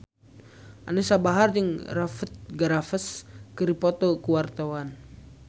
Anisa Bahar jeung Rupert Graves keur dipoto ku wartawan